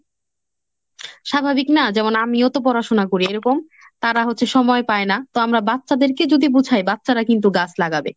স্বাভাবিক না? যেমন আমিও তো পড়াশুনা করি এরকম তারা হচ্ছে সময় পায় না তো আমরা বাচ্ছাদেরকে যদি বুঝাই বাচ্ছারা কিন্তু গাছ লাগবে।